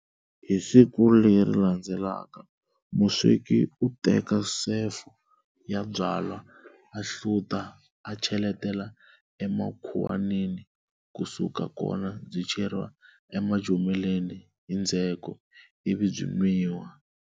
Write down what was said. Hi siku leri landzelaka musweki u teka sefo ya byalwa ahluta a cheletela emakhuwanini, ku suka kona byi cheriwa emajomeleni hi ndzheko, ivi byi nwiwa.